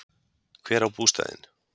Hver á bústaðinn?